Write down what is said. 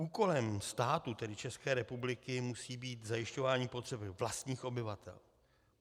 Úkolem státu, tedy České republiky, musí být zajišťování potřeb vlastních obyvatel.